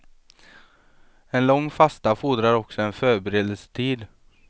En lång fasta fordrar också en förberedelsetid.